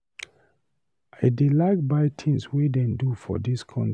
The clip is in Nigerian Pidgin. I dey like buy tins wey dem do for dis country.